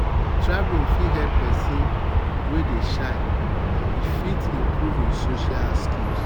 travelling fit help person wey dey shy e fit improve im social skills